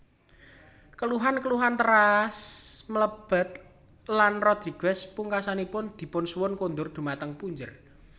Keluhan keluhan teras mlebet lan Rodrigues pungkasanipun dipunsuwun kundur dhumateng punjer